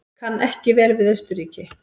Kann ekki vel við Austurríki.